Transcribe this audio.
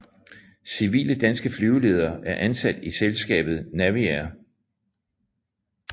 Civile danske flyveledere er ansat i selskabet Naviair